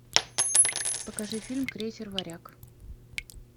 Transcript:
покажи фильм крейсер варяг